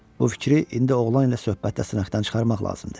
Bu fikri indi oğlan ilə söhbətdə sınaqdan çıxarmaq lazımdır.